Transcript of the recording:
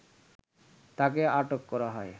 তাকে আটক করা হয়